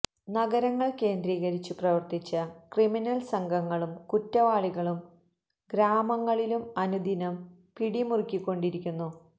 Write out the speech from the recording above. നഗരങ്ങള് കേന്ദ്രീകരിച്ചു പ്രവര്ത്തിച്ച ക്രിമിനല് സംഘങ്ങളും കുറ്റവാളികളും ഗ്രാമങ്ങളിലും അനുദിനം പിടി മുറുക്കികൊണ്ടിരിക്കുന്നു